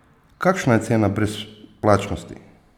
Kakšna je cena brezplačnosti?